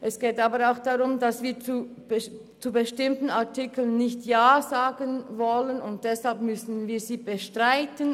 Es geht jedoch darum, dass wir zu bestimmten Artikel nicht Ja sagen wollen, weshalb wir diese bestreiten.